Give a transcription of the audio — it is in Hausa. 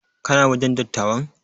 Kana wajen dattawan?